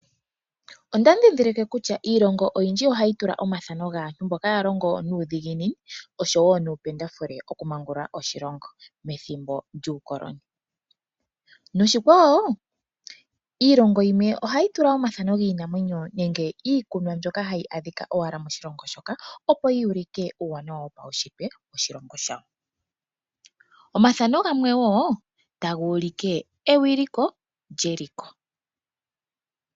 Onda ndhindhilike kutya iilongo oyindji ohayi tula omathano gaantu mboka ya longo nuudhiginini noshowo nuupendafule oku maangulula oshilongo methimbo lyuukoloni, noshikwawo iilongo yimwe ohayi tula omathano giinamwenyo nenge iikunwa mbyoka hayi adhika owala moshilongo shoka, opo yuulike uuwanawa wopaushitwe woshilongo shawo. Omathano gamwe wo taga ulike ewiliko lyeshito.